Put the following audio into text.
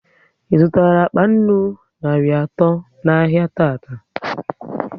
ị zụtara akpa nnu narị atọ n'ahia tata?